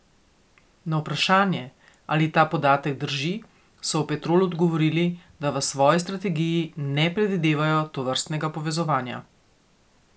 Na vprašanje, ali ta podatek drži, so v Petrolu odgovorili, da v svoji strategiji ne predvidevajo tovrstnega povezovanja.